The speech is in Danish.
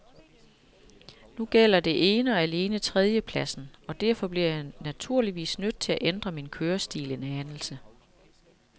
Nu gælder det ene og alene tredjepladsen, og derfor bliver jeg naturligvis nødt til at ændre min kørestil en anelse.